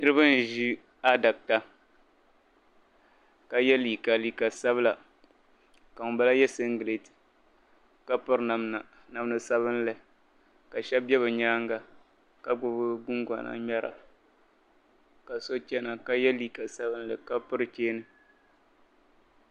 Niriba n ʒi adaka ka ye liiga liiga sabila ka ŋun bala ye liiga sabila ka ŋun bala ye singlet ka piri namda sabinli ka shab be bi nyaanga , gbubi guŋgona ŋmera ka so chana ka ye liiga sabinli ka piri cheeni.